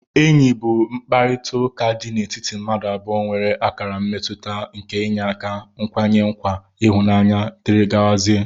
Enyi bu mkpakọrita di n'etiti mmadu abụọ nwere akara mmetuta nke iyeaka ,nkwanye nakwa ihunanya dgz.